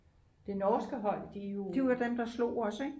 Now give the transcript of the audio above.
det norske hold de er jo